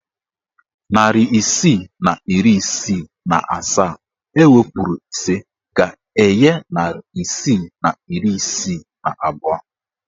Narị isii na iri isii na asaa ewepuru ise ga-enye narị isii na iri isii na abụọ.